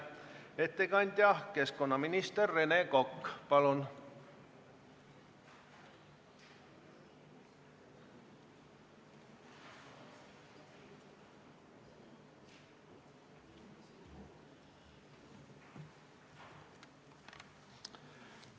Ettekandja keskkonnaminister Rene Kokk, palun!